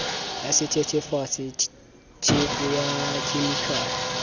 ya sethethefatsi tjhefu ya khemikhale